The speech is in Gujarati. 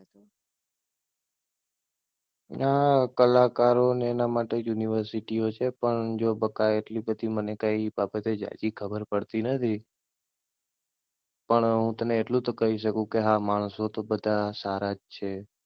ના કલાકારો ને એના માટે યુનિવર્સીટીઓ છે પણ જો બકા એટલી બધી મને કઈ બાબતે ઝાઝી ખબર પડતી નથી. પણ હું તને એટલું તો કહી શકું કે હા માણસો તો બધા સારા જ છે.